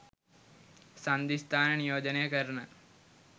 සන්ධි ස්ථාන නියෝජනය කරන